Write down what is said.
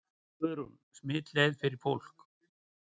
Guðrún: Smitleið fyrir fólk?